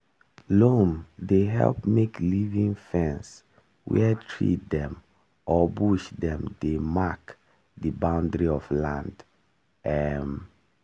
loam dey help make living fence where tree dem or bush dem dey mark di boundary of land. um